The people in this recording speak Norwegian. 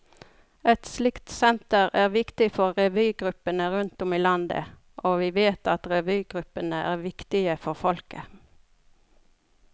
Et slikt senter er viktig for revygruppene rundt om i landet, og vi vet at revygruppene er viktige for folket.